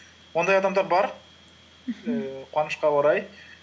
ондай адамдар бар мхм ііі қуанышқа орай